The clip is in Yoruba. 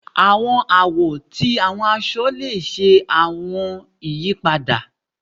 Àwọn àwo ti àwọn aṣọ le ṣe àwọn ìyípadà